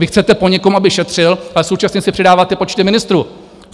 Vy chcete po někom, aby šetřil, ale současně si přidáváte počty ministrů!